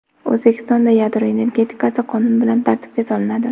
O‘zbekistonda yadro energetikasi qonun bilan tartibga solinadi.